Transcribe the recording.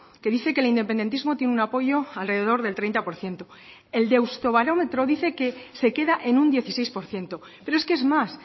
que dice que el independentismo tiene un apoyo alrededor del treinta por ciento el deustobarómetro dice que se queda en un dieciséis por ciento pero es que es más